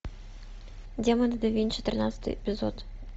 демоны да винчи тринадцатый эпизод